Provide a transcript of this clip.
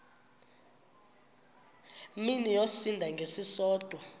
mini yosinda ngesisodwa